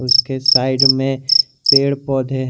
उसके साइड में पेड़ पौधे हैं।